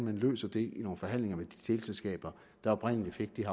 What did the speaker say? at løse det i nogle forhandlinger med de teleselskaber der oprindelig fik de